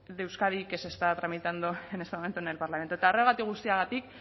de euskadi que se está tramitando en este momento en el parlamento eta horregatik guztiagatik